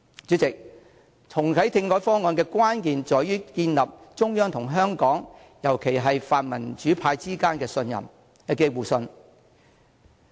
主席，重啟政改方案的關鍵在於建立中央與香港，尤其是與泛民主派的互信。